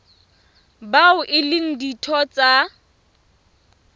bao e leng ditho tsa